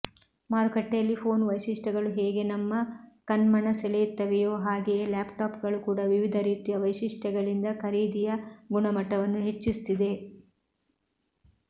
ಮಾರುಕಟ್ಟೆಯಲ್ಲಿ ಫೋನ್ ವೈಶಿಷ್ಟ್ಯಗಳು ಹೇಗೆ ನಮ್ಮ ಕಣ್ಮನಸೆಳೆಯುತ್ತವೆಯೋ ಹಾಗೆಯೇ ಲ್ಯಾಪ್ಟಾಪ್ಗಳು ಕೂಡ ವಿವಿಧ ರೀತಿಯ ವೈಶಿಷ್ಟ್ಯಗಳಿಂದ ಖರೀದಿಯ ಗುಣಮಟ್ಟವನ್ನು ಹೆಚ್ಚಿಸುತ್ತಿದೆ